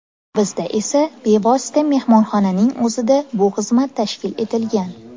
Bizda esa bevosita mehmonxonaning o‘zida bu xizmat tashkil etilgan.